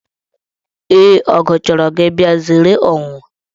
Ee, ọgụ chọrọ gị bịa, zeere ọnwụnwa.